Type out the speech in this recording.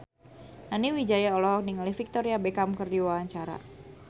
Nani Wijaya olohok ningali Victoria Beckham keur diwawancara